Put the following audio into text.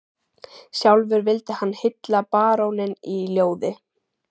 Sjálfur vildi hann hylla baróninn í ljóði